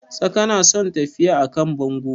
Tsaka na son tafiya a kan bango